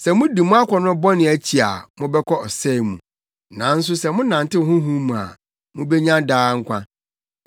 Sɛ mudi mo akɔnnɔ bɔne akyi a mobɛkɔ ɔsɛe mu, nanso sɛ monantew Honhom mu a, mubenya daa nkwa.